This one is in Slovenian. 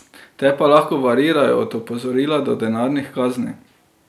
Te pa lahko variirajo od opozorila do denarnih kazni.